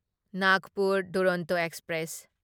Nagpur Duronto express